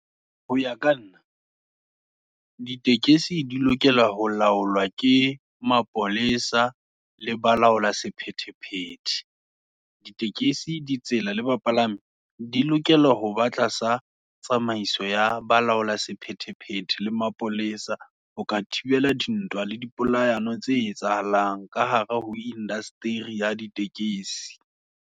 Ho ya ka nna, ditekesi di lokela ho laolwa, ke mapolesa le balaola sephethephethe. Ditekesi, di tsela, le bapalami, di e lokelwa, ho ba tlasa tsamaiso, ya balaola sephethephethe, le mapolesa. Ho ka thibela dintwa, le di polayano, tse etsahalang, ka hare ho industery ya ditekesi.